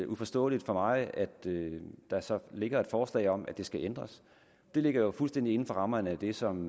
uforståeligt for mig at der så ligger et forslag om at det skal ændres det ligger jo fuldstændig inden for rammerne af det som